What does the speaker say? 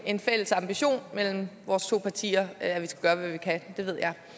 en fælles ambition mellem vores to partier at vi skal gøre hvad vi kan